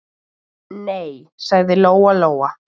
Nei, sagði Lóa-Lóa.